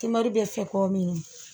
Kimaru bɛ fɛ k'o min